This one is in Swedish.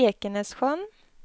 Ekenässjön